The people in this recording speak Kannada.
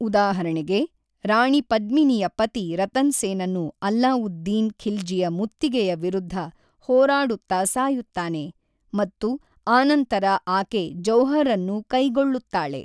ಉದಾಹರಣೆಗೆ, ರಾಣಿ ಪದ್ಮಿನಿಯ ಪತಿ ರತನ್ ಸೇನನು ಅಲ್ಲಾವುದ್ದೀನ್ ಖಿಲ್ಜಿಯ ಮುತ್ತಿಗೆಯ ವಿರುದ್ಧ ಹೋರಾಡುತ್ತಾ ಸಾಯುತ್ತಾನೆ, ಮತ್ತು ಆನಂತರ ಆಕೆ ಜೌಹರ್‌ಅನ್ನು ಕೈಗೊಳ್ಳುತ್ತಾಳೆ.